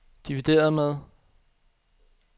divideret med